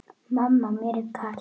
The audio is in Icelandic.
Mamma mér er kalt!